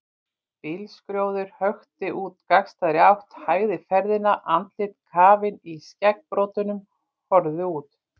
Bílskrjóður hökti úr gagnstæðri átt, hægði ferðina, andlit kafin í skeggbroddum horfðu út.